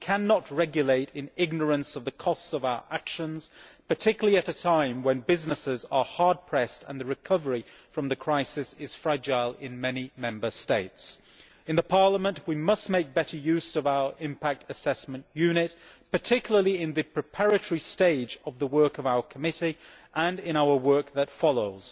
We cannot regulate in ignorance of the costs of our actions, particularly at a time when businesses are hard pressed and the recovery from the crisis is fragile in many Member States. In Parliament we must make better use of our impact assessment unit, particularly in the preparatory stage of the work of our committee and in our work that follows.